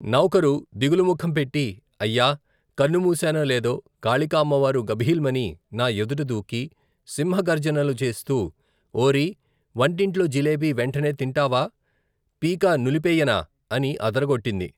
నౌకరు, దిగులు ముఖంపెట్టి, అయ్యా, కన్నుమూశానో లేదో, కాళికామ్మవారు, గభీల్మని, నా ఎదుటదూకి, సింహగర్జనలుచేస్తూ ఓరీ, వంటింట్లో జిలేబీ, వెంటనే తింటావా, పీక నులిపెయ్యనా, అని అదరగొట్టింది.